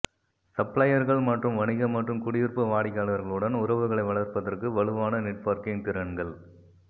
சப்ளையர்கள் மற்றும் வணிக மற்றும் குடியிருப்பு வாடிக்கையாளர்களுடன் உறவுகளை வளர்ப்பதற்கு வலுவான நெட்வொர்க்கிங் திறன்கள்